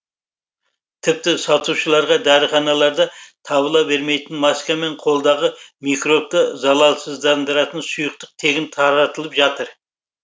тіпті сатушыларға дәріханаларда табыла бермейтін маска мен қолдағы микробты залалсыздандыратын сұйықтық тегін таратылап жатыр